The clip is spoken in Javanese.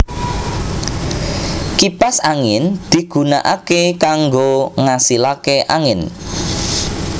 Kipas angin digunakake kanggo ngasilake angin